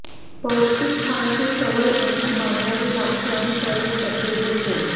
पौष्टिक खाण्याची सवय अंगी बाणवावी लागते आणि तरच तब्येत होते